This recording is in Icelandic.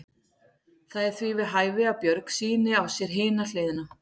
Það er því við hæfi að Björg sýni á sér hina hliðina.